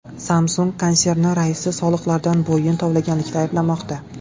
Samsung konserni raisi soliqlardan bo‘yin tovlaganlikda ayblanmoqda.